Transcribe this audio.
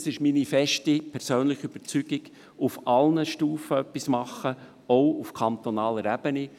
Es ist meine feste persönliche Überzeugung, dass wir auf allen Stufen etwas tun müssen, auch auf kantonaler Ebene.